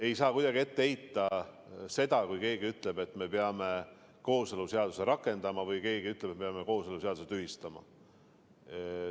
Ei saa kuidagi ette heita seda, kui keegi ütleb, et me peame kooseluseaduse rakendama, või kui keegi ütleb, et peame kooseluseaduse tühistama.